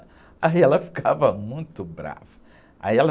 Aí ela ficava muito brava. Aí ela...